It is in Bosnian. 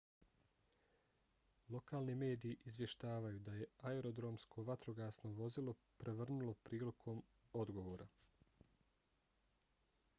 lokalni mediji izvještavaju da se aerodromsko vatrogasno vozilo prevrnulo prilikom odgovora